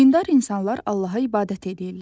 Dindar insanlar Allaha ibadət eləyirlər.